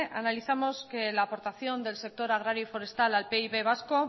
analizamos que la aportación del sector agrario y forestal al pib vasco